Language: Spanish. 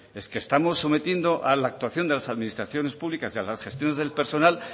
es que estamos sometiendo a la actuación de las administraciones públicas y a las gestiones del personal